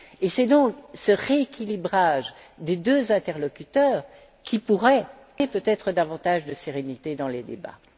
C'est donc ce rééquilibrage des deux interlocuteurs qui pourrait peut être amener davantage de sérénité dans les débats.